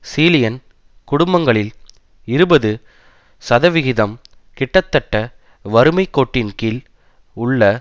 சீலியன் குடும்பங்களில் இருபது சதவிகிதம் கிட்டத்தட்ட வறுமை கோட்டின்கீழ் உள்ள